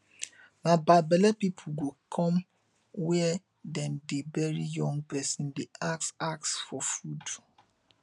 na bad belle people go come where dem dey bury young person dey ask ask for food